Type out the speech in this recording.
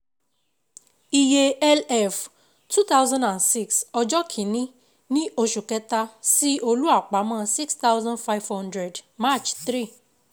Iye LF two thousand and six ọjọ́ kin-ní oṣù kẹ́ta Sí Olú àpamọ́ six thousand five hundred March three